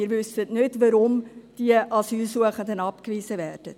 Wir wissen nicht, weshalb die Asylsuchenden abgewiesen werden.